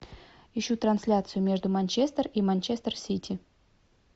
ищу трансляцию между манчестер и манчестер сити